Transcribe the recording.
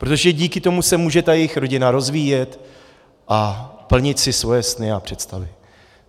Protože díky tomu se může ta jejich rodina rozvíjet a plnit si svoje sny a představy.